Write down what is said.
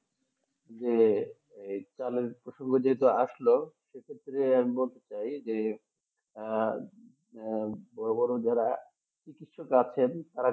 হ্যাঁ এই চালের প্রসঙ্গ যেহেতু আসলো সেক্ষেত্রে আমি বলতে চাই যে আহ আহ বড়ো বড়ো যারা চিকিৎসক আছেন তারা